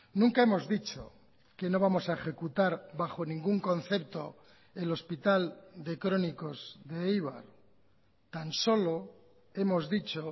nunca hemos dicho que no vamos a ejecutar bajo ningún concepto el hospital de crónicos de eibar tan solo hemos dicho